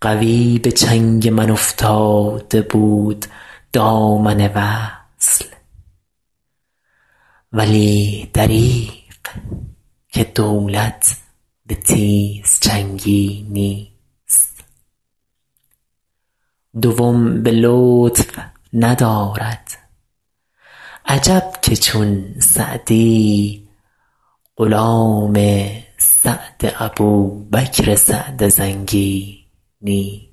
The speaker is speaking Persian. قوی به چنگ من افتاده بود دامن وصل ولی دریغ که دولت به تیزچنگی نیست دوم به لطف ندارد عجب که چون سعدی غلام سعد ابوبکر سعد زنگی نیست